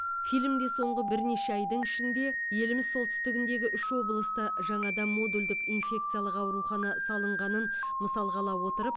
фильмде соңғы бірнеше айдың ішінде еліміз солтүстігіндегі үш облыста жаңадан модульдік инфекциялық аурухана салынғанын мысалға ала отырып